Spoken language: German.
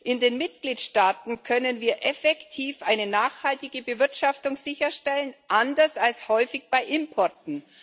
In den Mitgliedstaaten können wir effektiv eine nachhaltige Bewirtschaftung sicherstellen anders als häufig bei Importen.